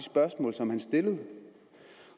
som en helhed